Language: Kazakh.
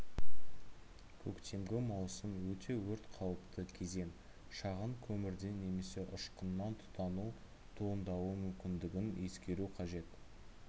көктемгі маусым өте өрт қауіпті кезең шағын көмірден немесе ұшқыннан тұтану туындауы мүмкіндігін ескеру қажет